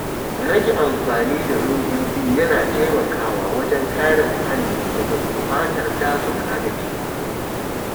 Rage amfani da robobi yana taimakawa wajen kare muhalli daga gurbatar dazuka da teku.